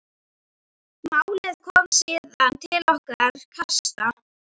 Málið kom síðan til okkar kasta.